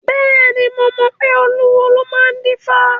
Bẹ́ẹ̀ni, mo mọ pé olúwo ló máa ń dífá.